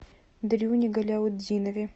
дрюне галяутдинове